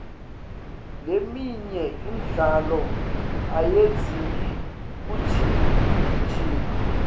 leminye imidlalo ayidzingi kugijima